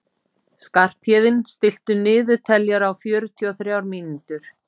Skarphéðinn, stilltu niðurteljara á fjörutíu og þrjár mínútur.